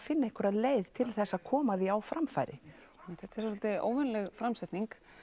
finna einhverja leið til þess að koma því á framfæri einmitt þetta er svolítið óvenjuleg framsetning